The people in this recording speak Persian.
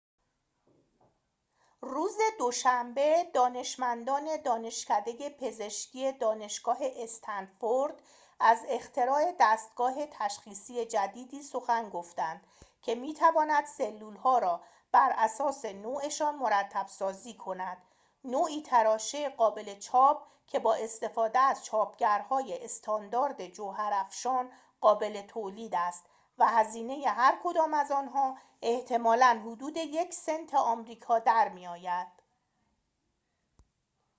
روز دوشنبه دانشمندان دانشکده پزشکی دانشگاه استنفورد از اختراع دستگاه تشخیصی جدیدی سخن گفتند که می‌تواند سلول‌ها را براساس نوعشان مرتب‌سازی کند نوعی تراشه قابل چاپ که بااستفاده از چاپگرهای استاندارد جوهرافشان قابل تولید است و هزینه هرکدام از آنها احتمالاً حدود یک سنت آمریکا در می‌آید